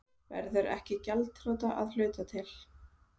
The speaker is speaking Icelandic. Verður ekki gjaldþrota að hluta til